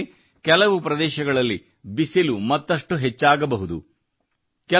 ಆ ವೇಳೆಗೆ ಕೆಲವು ಪ್ರದೇಶಗಳಲ್ಲಿ ಬಿಸಿಲು ಮತ್ತಷ್ಟು ಹೆಚ್ಚಾಗಬಹುದು